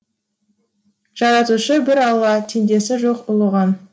жаратушы бір алла теңдесі жоқ ұлығың